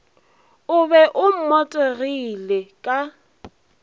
o be o mmotegile ka